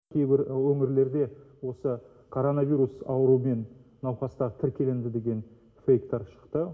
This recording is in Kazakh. кейбір өңірлерде осы коронавирус аурумен науқастар тіркелінді деген фэйктар шықты